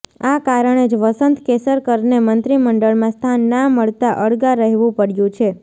આ કારણે જ વસંત કેસરકરને મંત્રીમંડળમાં સ્થાન ના મળતા અળગા રહેવુ પડ્યું છે